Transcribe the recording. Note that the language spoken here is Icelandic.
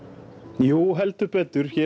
jú heldur betur hér